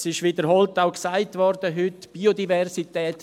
Es wurde heute wiederholt auch gesagt: Biodiversität.